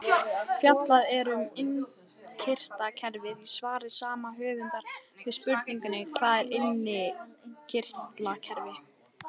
Fjallað er um innkirtlakerfið í svari sama höfundar við spurningunni Hvað er innkirtlakerfi?